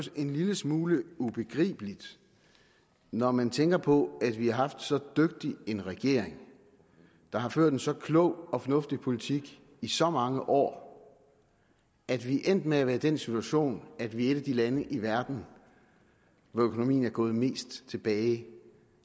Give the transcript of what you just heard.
en lille smule ubegribeligt når man tænker på at vi har haft så dygtig en regering der har ført en så klog og fornuftig politik i så mange år at vi er endt med at være i den situation at vi er et af de lande i verden hvor økonomien er gået mest tilbage